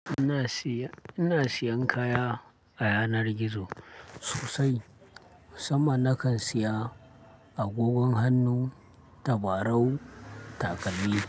Ina siya, ina siyan kaya a yanar gizo sosai musamman nakan siya agogon hannu, tabarau, takalmi.